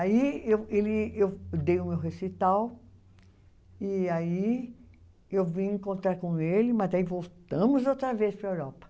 Aí eu ele, eu dei o meu recital e aí eu vim encontrar com ele, mas aí voltamos outra vez para a Europa.